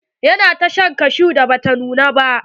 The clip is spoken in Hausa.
Ya na ta shan kashu da bata nuna ba.